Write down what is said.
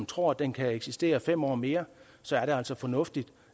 tror at den kan eksistere fem år mere så er det altså fornuftigt